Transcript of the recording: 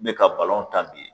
N me ka balɔn tan bi